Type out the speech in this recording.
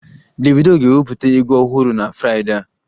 Davido ga-ewepụta egwu ọhụrụ na Fraịdee a